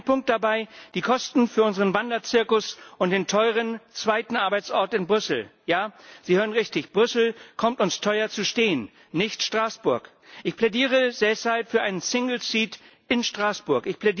Ein Punkt dabei die Kosten für unseren Wanderzirkus und den teuren zweiten Arbeitsort in Brüssel. Ja, Sie hören richtig Brüssel kommt uns teuer zu stehen, nicht Straßburg. Ich plädiere deshalb für einen single seat in Straßburg.